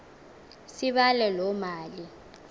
sibale loo mali